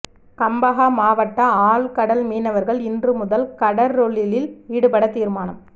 கம்பஹா மாவட்ட ஆழ் கடல் மீனவர்கள் இன்று முதல் கடற்றொழிலில் ஈடுபட தீர்மானம்